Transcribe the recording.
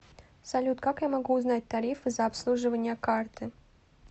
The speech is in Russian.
салют как я могу узнать тарифы за обслуживание карты